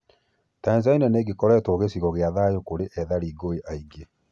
Tanzania nĩgĩkoretwo gĩcigo gĩa thayu kũrĩ ethari ngũĩ aingĩ.